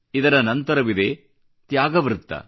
ಇದರ ನಂತರವಿದೆ ತ್ಯಾಗ ಚಕ್ರ